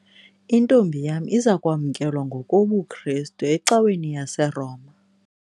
Intombi yam iza kwamkelwa ngokobuKrestu ecaweni yaseRoma.